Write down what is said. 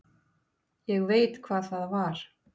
Ég veit hvað það var.